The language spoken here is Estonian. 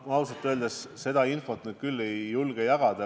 Ma ausalt öeldes seda infot küll ei julge jagada.